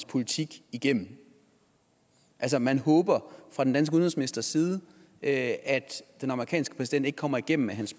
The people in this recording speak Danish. politik igennem altså man håber fra den danske udenrigsministers side at den amerikanske præsident ikke kommer igennem med